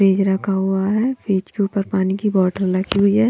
Page रखा हुआ है पेज के ऊपर पानी की बॉटल रखी हुई है।